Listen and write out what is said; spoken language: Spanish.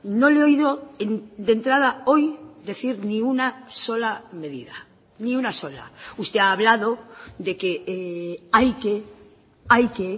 no le he oído de entrada hoy decir ni una sola medida ni una sola usted ha hablado de que hay que hay que